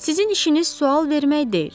Sizin işiniz sual vermək deyil.